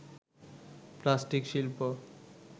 plastic শিল্প